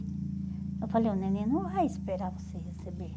Eu falei, o neném não vai esperar você receber.